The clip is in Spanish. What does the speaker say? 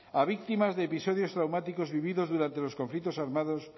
a víctimas de episodios traumáticos vividos durante los conflictos armados